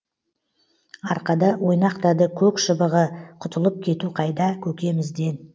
арқада ойнақтады көк шыбығы құтылып кету қайда көкемізден